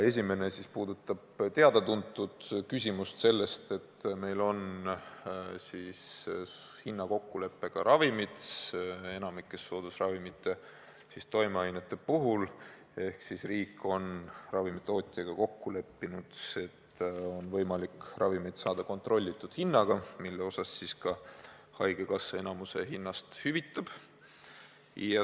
Esimene puudutab teada-tuntud küsimust sellest, et meil on hinnakokkuleppega ravimid, enamikus soodusravimite toimeainete puhul, ehk riik on ravimitootjaga kokku leppinud, et on võimalik ravimit saada kontrollitud hinnaga, millest haigekassa enamiku hüvitab.